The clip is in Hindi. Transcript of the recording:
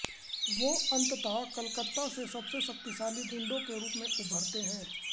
वो अन्तंतः कलकत्ता के सबसे शक्तिशाली गुंडों के रूप में उभरते हैं